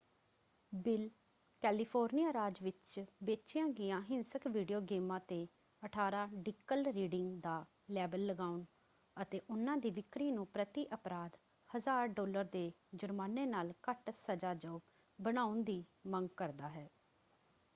Bill California ਰਾਜ ਵਿੱਚ ਵੇਚੀਆਂ ਗਈਆਂ ਹਿੰਸਕ ਵੀਡੀਓ ਗੇਮਾਂ 'ਤੇ 18 ਡਿਕਲ ਰੀਡਿੰਗ ਦਾ ਲੇਬਲ ਲਗਾਉਣ ਅਤੇ ਉਹਨਾਂ ਦੀ ਵਿਕਰੀ ਨੂੰ ਪ੍ਰਤੀ ਅਪਰਾਧ 1000 ਡਾਲਰ ਦੇ ਜੁਰਮਾਨੇ ਨਾਲ ਘੱਟ ਸਜਾਯੋਗ ਬਣਾਉਣ ਦੀ ਮੰਗ ਕਰਦਾ ਹੈ।